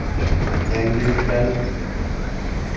Yangiliklarni kuzatib boring.